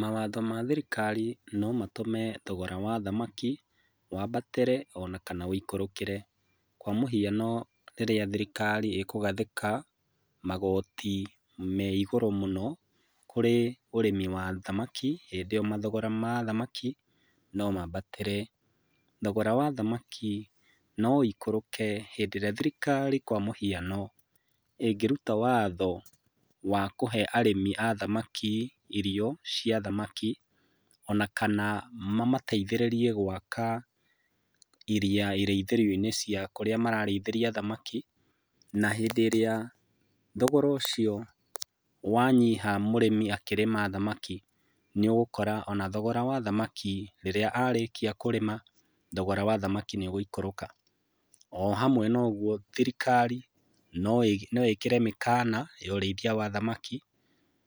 Mawatho ma thirikari no matũme thogora wa thamaki wambatĩre ona kana ũikũrũkire. Kwa mũhiano rĩrĩa thirikari ĩkũgathika, magoti meigũrũ mũno kũrĩ ũrĩmi wa thamaki hĩndĩ ĩyo mathogora ma thamaki no maambatĩre. Thogora wa thamaki no ũiuruke hĩndĩ ĩrĩa thirikari kwa mũhiano ĩngĩruta watho wa kuhe arimi a thamaki irio cia thamaki, ona kana mamateithĩrĩrie gwaka iria irĩithĩrioinĩ cia kũrĩa mararĩithĩria thamaki, na hĩndĩ ĩrĩa thogora ũcio wanyiha mũrĩmi akĩrĩma thamaki, nĩ ũgũkora ona thogora wa thamaki rĩrĩa arĩkia kũrĩma thogora wa thamaki nĩ ũgũikũrũka. O hamwe naũguo thirikari no ĩkĩre mĩkana ya ũrĩithia wa thamaki,